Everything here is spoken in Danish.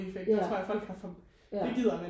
Ja ja